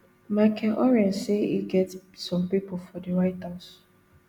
michael oren say e get some pipo for di white house